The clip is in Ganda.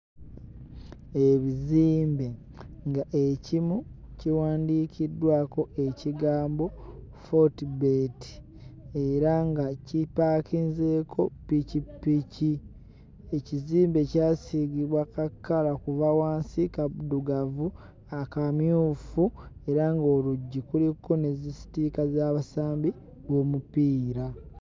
Ebizimbe ng'ekimu kiwandiikiddwako ekigambo Fotebet era nga kipaakinzeeko ppikipiki. Ekizimbe kyasiigibwa kakkala kuva wansi kaddugavu, akamyufu era ng'oluggi kuliko ne zisitiika z'abasambi b'omupiira.